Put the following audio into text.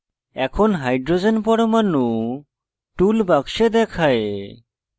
এখন h পরমাণু tool box দেখায়